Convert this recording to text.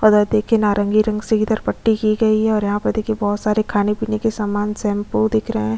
और उधर देखिए नारंगी रंग से इधर पट्टी की गई है और यहाँ पर देखिए बहुत सारे खाने पीने की सामान शैम्पू दिख रहे है।